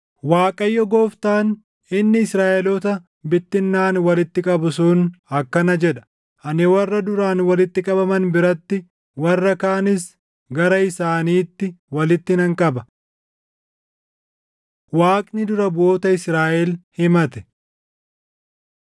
Waaqayyo Gooftaan, inni Israaʼeloota bittinnaaʼan walitti qabu sun akkana jedha: “Ani warra duraan walitti qabaman biratti, warra kaanis gara isaaniitti walitti nan qaba.” Waaqni Dura Buʼoota Israaʼel himate